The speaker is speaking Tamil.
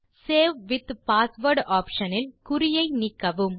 சேவ் வித் பாஸ்வேர்ட் ஆப்ஷன் இல் குறியை நீக்கவும்